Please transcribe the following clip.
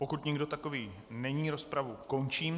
Pokud nikdo takový není, rozpravu končím.